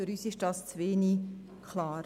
Für uns ist das zu wenig klar.